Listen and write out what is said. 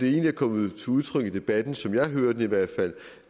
er kommet til udtryk i debatten som jeg hører det i hvert fald